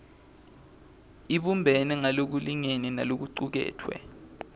ibumbene ngalokulingene nalokucuketfwe